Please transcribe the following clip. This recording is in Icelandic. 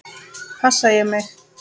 Passa ég mig?